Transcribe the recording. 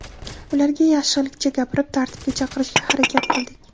Ularga yaxshilikcha gapirib, tartibga chaqirishga harakat qildik.